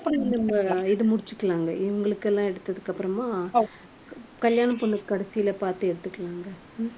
அப்ப நம்ம இது முடிச்சுக்கலாங்க. இவங்களுக்கு எல்லாம் எடுத்ததுக்கு அப்புறமா கல்யாண பொண்ணு கடைசியில பார்த்து எடுத்துக்கலாங்க.